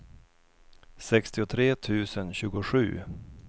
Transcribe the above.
sextiotre tusen tjugosju